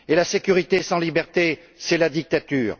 Et la sécurité sans liberté, c'est la dictature.